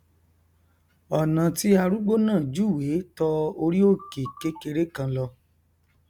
ọnà tí arúgbó náà júwèé tọ orí òkè kékeré kan lọ